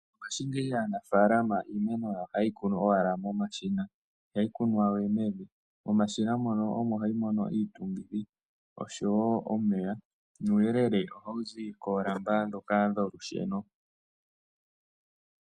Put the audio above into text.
Mongaashingeyi aanafaalama iimeno yawo ohaye yi kunu owala momashina ihayi kunwa we mevi. Momashina mono omo hayi mono iitungithi oshowo omeya nuuyelele ohawu zi koolamba ndhoka dholusheno.